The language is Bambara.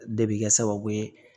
De bɛ kɛ sababu ye